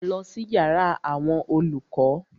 Lọ sí yàrá àwọn olùkọ́!